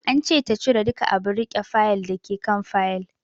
An ce ta cire duka abun riƙe Fayil dake kan Fayil